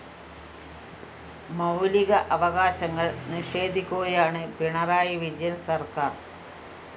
മൗലിക അവകാശങ്ങള്‍ നിഷേധിക്കുകയാണ് പിണറായി വിജയന്‍ സര്‍ക്കാര്‍